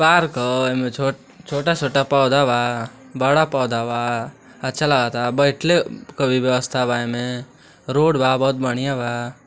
Park ह एमे छोट छोटा छोटा पोधा बा बड़ा पोधा बा अच्छा लगता बेठले के भी बेवस्ता बा एमे रोड बा बहुत बढ़िया बा।